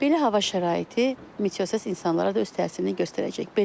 Belə hava şəraiti meteosess insanlara da öz təsirini göstərəcək.